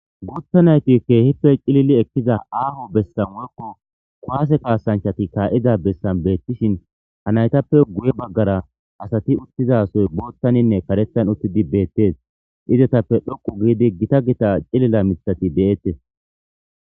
guutha naytikkehippey cilili ekkiza aaho bessan uyekko kwase kaasanchati kaa7iza bessan beettishin ha naytappe guye baggara asati uttizasoy boottaninne karetan uttidi beettes izetappe dhoqu giidi gita gita cilila mithati de7ettes